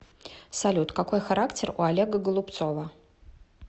салют какой характер у олега голубцова